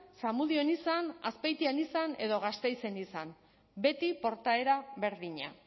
zamudion izan azpeitian izan edo gasteizen izan beti portaera berdina